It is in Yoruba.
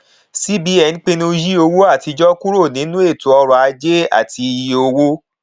cbn pinnu yí owó àtijọ kúrò nínú eto ọrọ ajé àti iye owó